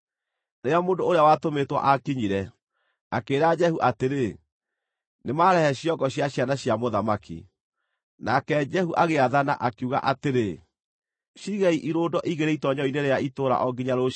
Rĩrĩa mũndũ ũrĩa watũmĩtwo aakinyire, akĩĩra Jehu atĩrĩ, “Nĩmarehe ciongo cia ciana cia mũthamaki.” Nake Jehu agĩathana, akiuga atĩrĩ, “Ciigei irũndo igĩrĩ itoonyero-inĩ rĩa itũũra o nginya rũciinĩ.”